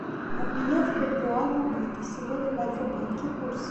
обменять бальбоа на баты сегодня в альфа банке курс